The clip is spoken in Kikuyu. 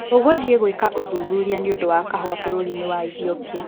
Tũgũthiĩ gwĩka ũthuthuria nĩũndũ wa kahũa bũrũri-inĩ wa Ithiopia